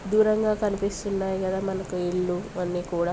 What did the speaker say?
దూరంగా కనిపిస్తున్నాయి కదా మనకు ఇల్లు అన్నీ కూడా --